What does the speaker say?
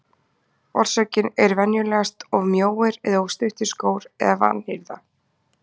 Orsökin er venjulegast of mjóir og of stuttir skór eða vanhirða.